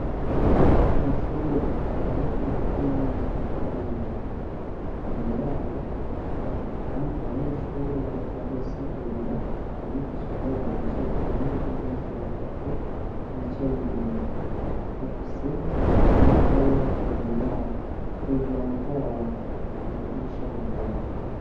Mw'ishure abanyeshuri ba kaminuza bariko bariga, imbere yabo hari abandi banyeshure bariko bari asigurira abigisha babo bicaye ku ruhande rwo hirya batatu bicaye imbere, bafise inyabwonko imbere yabo hejuru amatara araka amadirisha arugaye.